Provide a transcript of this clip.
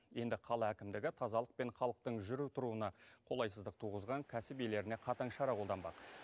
енді қала әкімдігі тазалық пен халықтың жүру тұруына қолайсыздық туғызған кәсіп иелеріне қатаң шара қолданбақ